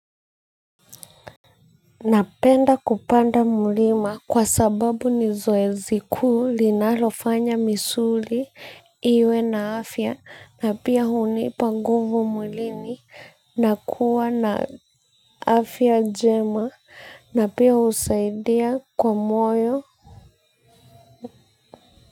Napenda kupanda mlima kwa sababu ni zoezi kuu linalofanya misuli iwe na afya na pia hunipa nguvu mwilini na kuwa na afya jema na pia husaidia kwa moyo.